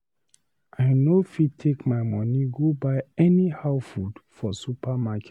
I no fit take my money go buy anyhow food for supermarket.